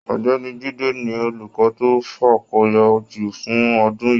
Ọ̀gbẹ́ni Jide ni olukọ to fakọyọ jù fún ọdún yìí.